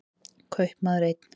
Kaupmaður einn.